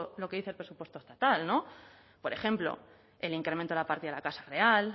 lo que dice el presupuesto estatal no por ejemplo el incremento a la partida de la casa real